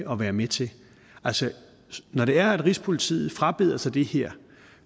at være med til altså når det er at rigspolitiet frabeder sig det her